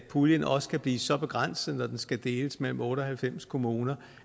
puljen også kan blive så begrænset når den skal deles mellem otte og halvfems kommuner